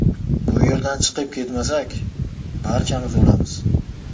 Bu yerdan chiqib ketmasak, barchamiz o‘lamiz.